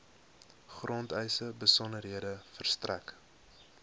grondeise besonderhede verstrek